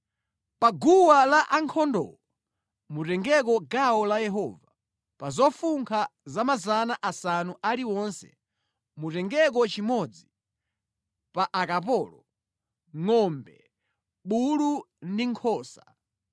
Pa gawo la ankhondowo, mutengeko gawo la Yehova, pa zofunkha 500 zilizonse mutengeko chimodzi, pa akapolo, ngʼombe, bulu ndi nkhosa.